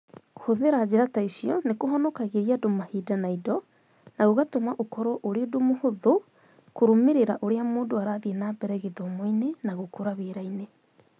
Kũhũthĩra njĩra ta icio nĩ kũhonokagĩria andũ mahinda na indo, na gũgatũma ũkorũo ũrĩ ũndũ mũhũthũ kũrũmĩrĩra ũrĩa mũndũ arathiĩ na mbere gĩthomoinĩ na gũkũra wĩra-inĩ.